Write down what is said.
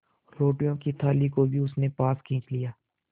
रोटियों की थाली को भी उसने पास खींच लिया